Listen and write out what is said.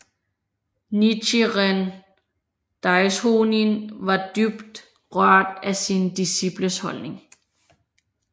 Nichiren Daishonin var dybt rørt af sine disciples holdning